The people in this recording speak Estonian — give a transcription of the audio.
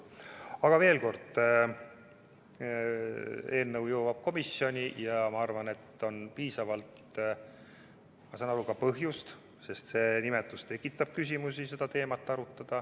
Aga veel kord: eelnõu jõuab komisjoni ja ma saan aru, et on piisavalt põhjust seda teemat arutada, sest see nimetus tekitab küsimusi.